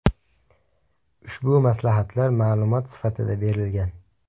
Ushbu maslahatlar ma’lumot sifatida berilgan.